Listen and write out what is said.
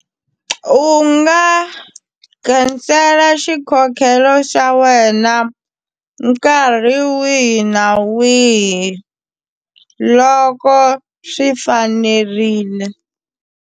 U nga cancel xikhokhelo xa wena nkarhi wihi na wihi loko swi fanerile.